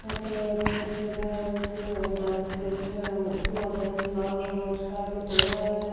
এতে একটা ছেলা আ উ উহা ডান্স করছে উ উহাদের লাল রং এর শাড়ী পড়া আছে।